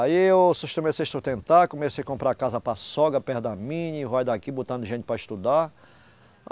Aí eu sus, comecei a sustentar, comecei comprar casa para sogra perto da minha, e vai daqui botando gente para estudar.